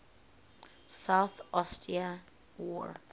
south ossetia war